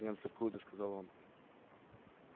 немцы в клубе сказал он